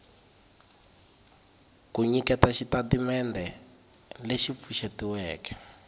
ku nyiketa xitatimendhe lexi pfuxetiweke